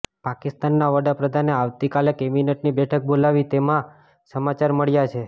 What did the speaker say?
પાકિસ્તાનના વડાપ્રધાને આવતીકાલે કેબિનેટની બેઠક બોલાવી તેવા સમાચાર મળ્યા છે